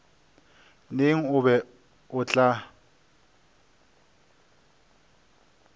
neng o be o tla